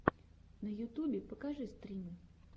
на ютубе покажи стримы